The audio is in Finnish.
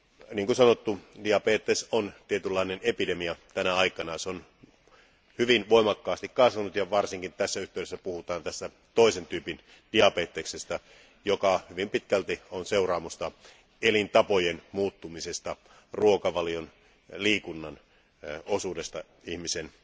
Niin kuin on sanottu, diabetes on tietynlainen epidemia tänä aikana ja se on hyvin voimakkaasti kasvanut, varsinkin kun puhutaan tästä toisen tyypin diabeteksestä, joka hyvin pitkälti on seuraamusta elintapojen muuttumisesta, ruokavalion ja liikunnan osuudesta ihmisen